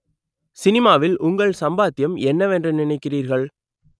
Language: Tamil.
சினிமாவில் உங்கள் சம்பாத்தியம் என்னவென்று நினைக்கிறீர்கள்